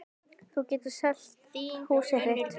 Þú getur selt húsið þitt.